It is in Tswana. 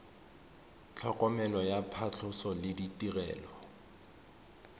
tlhokomelo ya phatlhoso le ditirelo